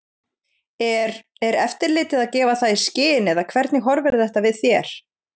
Er, er eftirlitið að gefa það í skyn eða hvernig horfir þetta við þér?